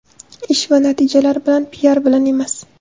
Ish va natijalar bilan, piar bilan emas.